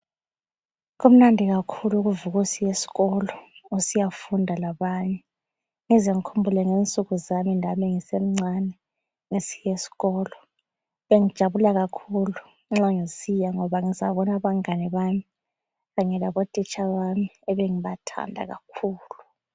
Kumnandi kakhulu ukuvukusiy’ esikolo usiyafunda labanye. Ngize ngikhumbule ngensuku zami lami ngisemncane ngisiyesikolo. Bengijabula kakhulu nxa ngisiya ngoba ngizabona abangane bami kanye labotitsha bami ebe ngibathanda kakhulu.